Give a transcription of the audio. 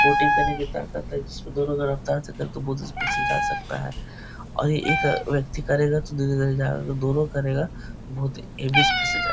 Boating करने की ताकत है जिसमें दोनों का रफ़्तार से करे तो बहोत ही स्पीड से जा सकता है। और एक व्यक्ति करेगा तो दोनों करेगा बहोत हैवी